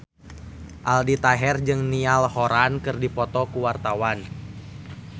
Aldi Taher jeung Niall Horran keur dipoto ku wartawan